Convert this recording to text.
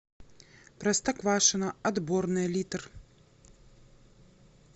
простоквашино отборное литр